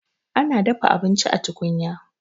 Ana dafa abinci a tukunya.